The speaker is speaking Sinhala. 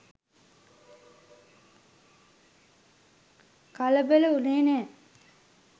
කලබල වුනේ නෑ.